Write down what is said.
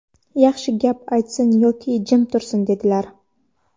yaxshi gap aytsin yoki jim tursin", dedilar".